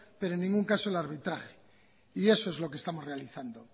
pero en ningún caso el arbitraje y eso es lo que estamos realizando